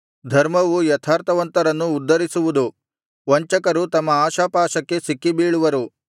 ಧರ್ಮವು ಯಥಾರ್ಥವಂತರನ್ನು ಉದ್ಧರಿಸುವುದು ವಂಚಕರು ತಮ್ಮ ಆಶಾಪಾಶಕ್ಕೆ ಸಿಕ್ಕಿಬೀಳುವರು